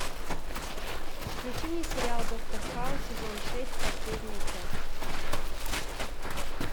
включи мне сериал доктор хаус сезон шесть последняя часть